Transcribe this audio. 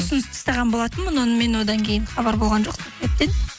ұсыныс тастаған болатынмын онымен одна кейін хабар болған жоқ тіптен